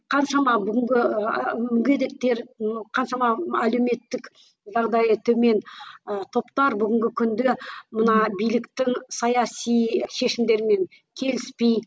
қаншама бүгінгі ііі мүгедектер қаншама әлеуметтік жағдайы төмен ы топтар бүгінгі күнде мына биліктің саяси шешімдерімен келіспейді